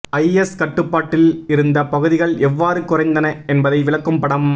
ஐ S கட்டுப்பாட்டில் இருந்த பகுதிகள் எவ்வாறு குறைந்தன என்பதை விளக்கும் படம்